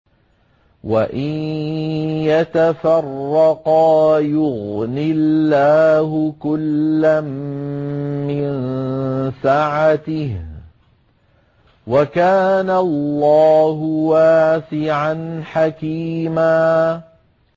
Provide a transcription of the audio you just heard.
وَإِن يَتَفَرَّقَا يُغْنِ اللَّهُ كُلًّا مِّن سَعَتِهِ ۚ وَكَانَ اللَّهُ وَاسِعًا حَكِيمًا